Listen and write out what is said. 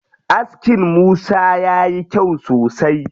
Askin Musa yayi kyau sosai.